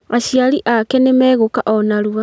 Aciari ake nĩmegũũka o narua